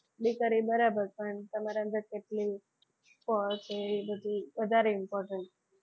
degree બરાબર પણ તમારા અંદર કેટલી છે વધારે important છે.